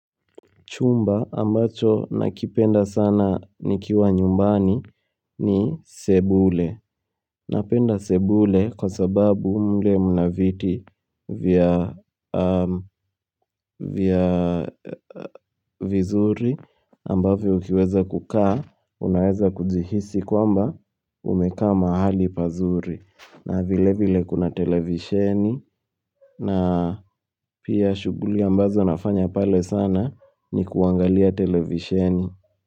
Chumba ambacho nakipenda sana nikiwa nyumbani ni sebule. Napenda sebule kwa sababu mle mnaviti vya. Vya vizuri ambavyo ukiweza kukaa unaweza kuzihisi kwamba umeka mahali pazuri. Na vile vile kuna televisheni na pia shuguli ambazo nafanya pale sana ni kuangalia televisheni.